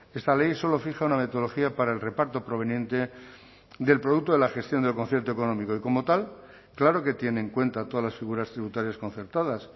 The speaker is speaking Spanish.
esta ley solo fija una metodología para el reparto proveniente del producto de la gestión del concierto económico y como tal claro que tiene en cuenta todas las figuras tributarias concertadas